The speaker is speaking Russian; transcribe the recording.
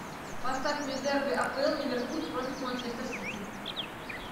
поставь мне дерби апл ливерпуль против манчестер сити